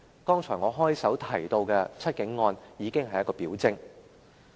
我在開場白提及的"七警案"已經是一項表徵。